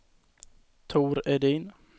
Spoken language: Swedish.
Tor Edin